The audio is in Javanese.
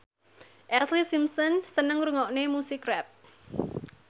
Ashlee Simpson seneng ngrungokne musik rap